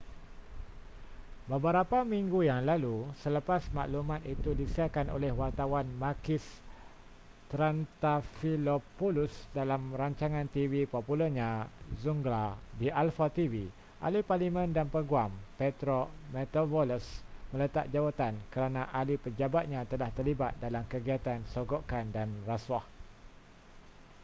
beberapa minggu yang lalu selepas maklumat itu disiarkan oleh wartawan makis triantafylopoulos dalam rancangan tv popularnya zoungla di alpha tv ahli parlimen dan peguam petros mantouvalos meletak jawatan kerana ahli pejabatnya telah terlibat dalam kegiatan sogokan dan rasuah